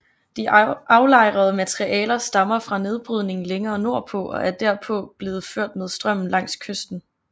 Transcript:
De aflejrede materialer stammer fra nedbrydning længere nordpå og er derpå blevet ført med strømmen langs kysten